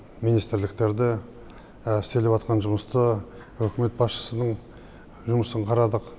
министрліктерді істеліватқан жұмысты үкімет басшысының жұмысын қарадық